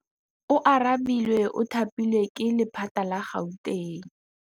Oarabile o thapilwe ke lephata la Gauteng.